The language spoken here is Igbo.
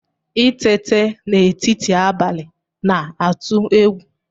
Itete n'etiti abalị na-atụ egwu